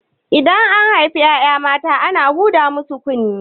Idan an haifi ƴaƴa mata ana huda musu kunne